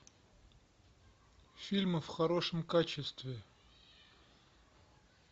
фильмы в хорошем качестве